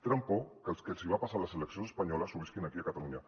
tenen por que el que els va passar a les eleccions espanyoles ho visquin aquí a catalunya